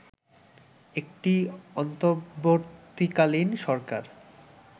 একটি অন্তর্বর্তীকালীন সরকার